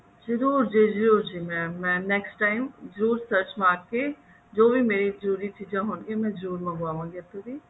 ਜਰੁਰ ਜੀ ਜਰੁਰ ਜੀ mam ਮੈਂ next time ਜਰੂਰ search ਮਾਰ ਕੇ ਜੋ ਵੀ ਮੇਰੀ ਜਰੂਰੀ ਚੀਜ਼ਾਂ ਹੋਣਗੀਆਂ ਮੈਂ ਜਰੁਰ ਮੰਗਵਾਵਾਂਗੀ ਇੱਥੋਂ ਦੀ